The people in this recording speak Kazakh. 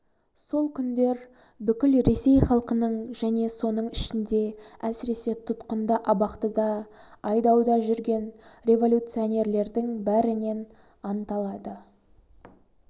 сол күндер бүкіл ресей халқының және соның ішінде әсіресе тұтқында абақтыда айдауда жүрген революционерлердің бәрінен анталады